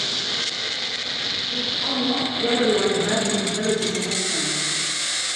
Pith ong'o dwaro lony mar teknoloji ma nyasani.